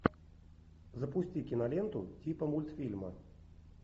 запусти киноленту типа мультфильма